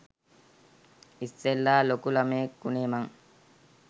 ඉස්සෙල්ලා ලොකු ළමයෙක් උනේ මං.